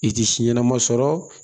I tɛ si ɲɛnama sɔrɔ